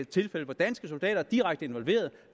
tilfælde hvor danske soldater er direkte involveret